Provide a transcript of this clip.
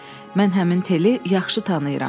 Mən həmin Teli yaxşı tanıyıram.